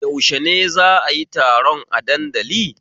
Yaushe ne za'a yi taron a dandali?